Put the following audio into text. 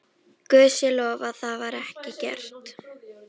Guði sé lof að það var ekki gert.